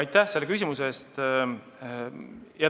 Aitäh selle küsimuse eest!